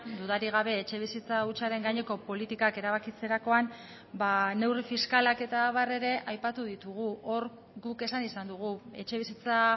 dudarik gabe etxebizitza hutsaren gaineko politikak erabakitzerakoan neurri fiskalak eta abar ere aipatu ditugu hor guk esan izan dugu etxebizitza